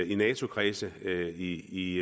i nato kredse i